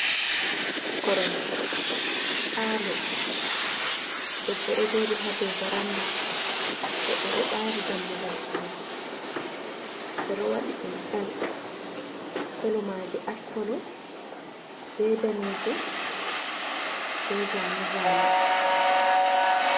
koromje falo debbo dojodi hado varanda goddo do bari dammugal sudu bedo wadi dum bel kolomaje ashkolo be danejum be zazane